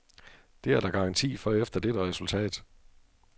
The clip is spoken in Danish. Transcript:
Det er der garanti for efter dette resultat.